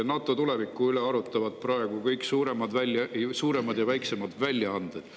NATO tuleviku üle arutavad praegu ju kõik suuremad ja väiksemad väljaanded.